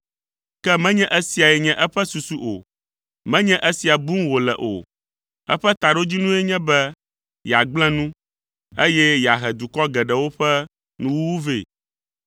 Ke menye esiae nye eƒe susu o, menye esia bum wòle o, eƒe taɖodzinue nye be yeagblẽ nu, eye yeahe dukɔ geɖewo ƒe nuwuwu vɛ.